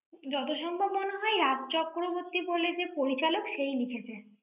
যত সম্ভব মনে হয় রাজ চক্রবর্তী বলে যে পরিচালক, সেই লিখেছে।